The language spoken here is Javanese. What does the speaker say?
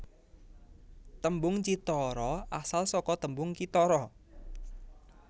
Tembung cithara asal saka tembung kithara